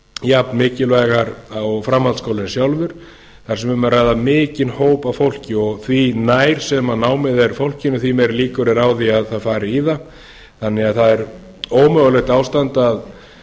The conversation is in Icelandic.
jafnmikilvægar og framhaldsskólinn sjálfur þar sem um er að ræða mikinn hóp af fólki því nær sem námið er fólkinu því meiri líkur eru á því að það fari í það þannig að það er ómögulegt ástand að